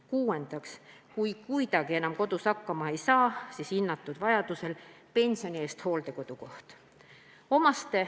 Kuuendaks, kui kuidagi enam kodus hakkama ei saa, siis hinnatud vajaduse korral pensioni eest hooldekodu koht.